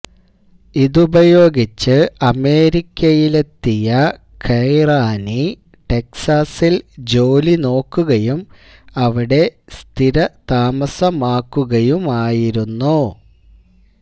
ഇതുപയോഗിച്ച് അമേരിക്കയിലെത്തിയ ഖൈറാനി ടെക്സാസില് ജോലി നോക്കുകയും അവിടെ സ്ഥിരതാമസമാക്കുകയുമായിരുന്നു